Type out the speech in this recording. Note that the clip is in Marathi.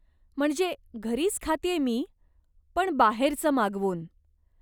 म्हणजे घरीच खातेय मी, पण बाहेरचं मागवून.